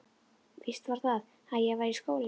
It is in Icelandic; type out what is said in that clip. Víst var það, að ég var í skóla.